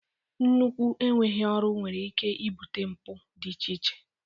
Nnukwu enweghị ọrụ nwere ike ibute mpụ dị iche iche